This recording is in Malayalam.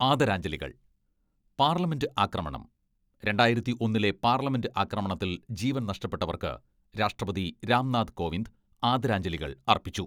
ആദരാഞ്ജലികൾ, പാർലമെന്റ് ആക്രമണം, രണ്ടായിരത്തി ഒന്നിലെ പാർലമെന്റ് ആക്രമണത്തിൽ ജീവൻ നഷ്ടപ്പെട്ടവർക്ക് രാഷ്ട്രപതി രാംനാഥ് കോവിന്ദ് ആദരാഞ്ജലികൾ അർപ്പിച്ചു.